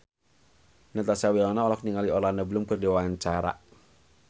Natasha Wilona olohok ningali Orlando Bloom keur diwawancara